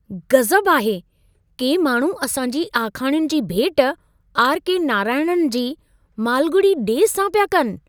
ग़ज़बु आहे! के माण्हू असां जी आखाणियुनि जी भेट आर के नारायण जी मालगुड़ी डेज़ सां पिया कनि।